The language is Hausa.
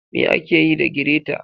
ma akeyi da greta.